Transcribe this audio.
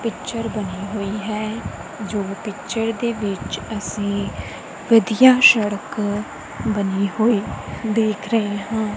Picture ਬਣੇ ਹੋਈ ਹੈ ਜੋ ਪਿਚਰ ਦੇ ਵਿੱਚ ਅਸੀਂ ਵਧੀਆ ਸੜਕ ਬਣੀ ਹੋਈ ਦੇਖ ਰਹੇ ਹਾਂ।